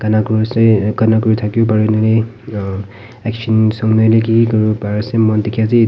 enoka kuri se gana kuri thaka pare ne aa action song ki kuribo pare ase moi dikhi ase ya teh.